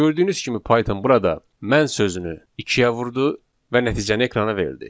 Gördüyünüz kimi Python burada mən sözünü ikiyə vurdu və nəticəni ekrana verildi.